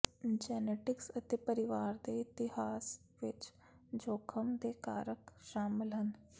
genetics ਅਤੇ ਪਰਿਵਾਰ ਦੇ ਇਤਿਹਾਸ ਵਿਚ ਜੋਖਮ ਦੇ ਕਾਰਕ ਸ਼ਾਮਲ ਹਨ